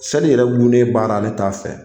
Seli yɛrɛ gunnen baara ne t'a fɛ